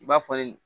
I b'a fɔ